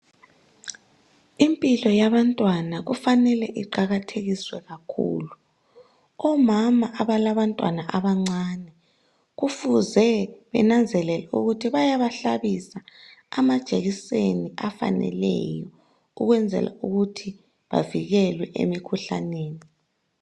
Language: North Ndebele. Impilo yabantwana kufanele iqakathekiswe kakhulu omama abalabantwana abancane kufuze benanzelela ukuthi bayabahlabisa amajekiseni afaneleyo ukwenzela ukuthi bavikelwe emikhuhlaneni.